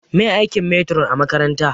Meye aikin metiron a makaranta?